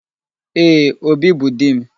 Ee, Obi bụ di m